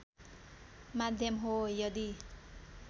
माध्यम हो यदि